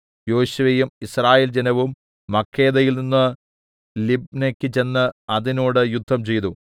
യോശുവയും Israel ജനവും മക്കേദയിൽനിന്ന് ലിബ്നെക്ക് ചെന്ന് അതിനോട് യുദ്ധംചെയ്തു